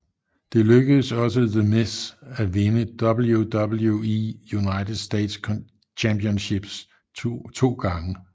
Det lykkedes også The Miz at vinde WWE United States Championship to gange